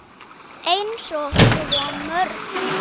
Eins og svo mörgu.